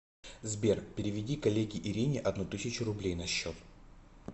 сбер переведи коллеге ирине одну тысячу рублей на счет